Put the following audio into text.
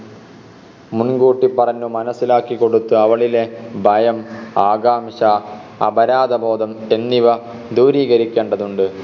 മുൻകൂട്ടി പറഞ്ഞ് മനസ്സിലാക്കിക്കൊടുത്ത് അവളിലെ ഭയം ആകാംക്ഷ അപരാധബോധം എന്നിവ ദൂരീകരിക്കേണ്ടതുണ്ട്